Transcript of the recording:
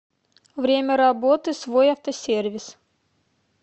время работы свой автосервис